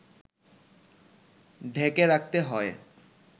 ঢেকে রাখতে হয়